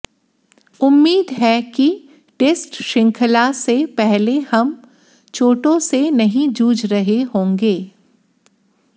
उम्मीद है कि टेस्ट शृंखला से पहले हम चोटों से नहीं जूझ रहे होंगे